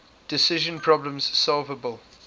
decision problems solvable